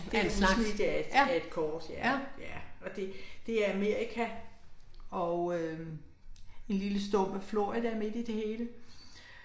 Det et udsnit af et af et kort, ja, ja, og det er Amerika og øh vi står ved Florida midt i det hele